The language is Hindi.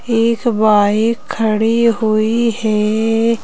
एक बाइक खड़ी हुई है।